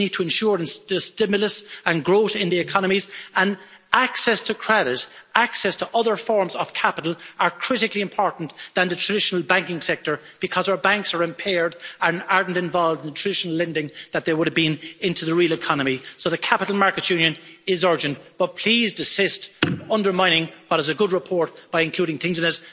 We need to ensure there is stimulus and growth in the economies and access to credit access to other forms of capital are more critically important than the traditional banking sector because our banks are impaired and are not involved in traditional lending as they would have been into the real economy. So the capital markets union is urgent, but please desist from undermining what is a good report by including things in it that are not necessary.